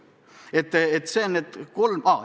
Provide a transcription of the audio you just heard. Need on need kolm asja.